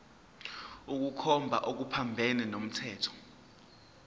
ukukhomba okuphambene nomthetho